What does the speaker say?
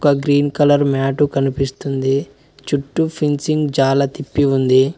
Green colour mat కనిపిస్తుంది చుట్టూ finishing చాలా తిప్పి ఉంది.